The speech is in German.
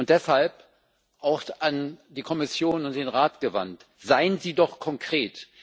Deshalb auch an die Kommission und den Rat gewandt Seien Sie doch konkret!